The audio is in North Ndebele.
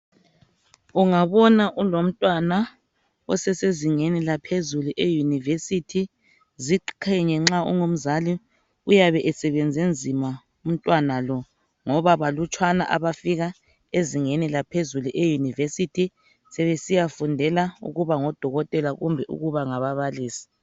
Ungabona ulomntwana osesezingeni laphezulu eUniversity ziqhenye nxa ungumzali uyabe esebenze nzima umntwana lo ngoba balutshwane abafika ezingeni laphezulu e University sebesiya fundela ukuba ngodokotela kumbe ukuba ngababalisi.